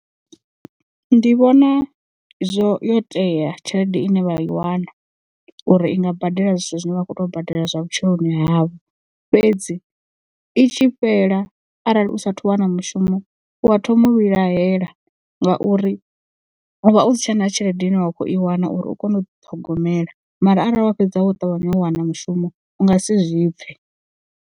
Ndi vhona zwo yo tea tshelede ine vha i wana uri i nga badela zwithu zwine vha khou tea u badela zwa vhutshiloni havho fhedzi i tshi fhela arali u sathu wana mushumo u thoma u vhilahela ngauri u vha u si tshena tshelede ine wa kho i wana uri u kone u ḓi ṱhogomela mara arali wa fhedza wo ṱavhanya u wana mushumo u nga si zwi pfhe.